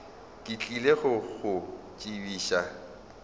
ke tlile go go tsebiša